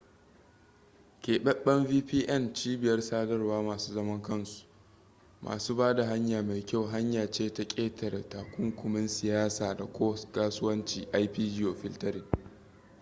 keɓaɓɓen vpn cibiyar sadarwar masu zaman kansu masu ba da hanya mai kyau hanya ce ta ƙetare takunkumin siyasa da kasuwancin ip-geofiltering